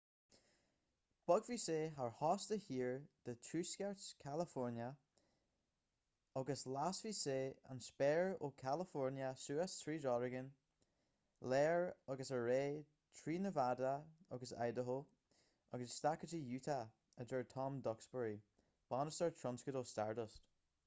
bogfaidh sé thar chósta thiar de thuaisceart california agus lasfaidh sé an spéir ó california suas tríd oregon láir agus ar aghaidh trí nevada agus idaho agus isteach go utah a deir tom duxbury bainisteoir tionscadail stardust